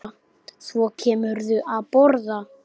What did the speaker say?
Og svo kemurðu að borða!